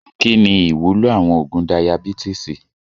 Kí ni ìwúlò àwọn oògùn Dayabítìsì?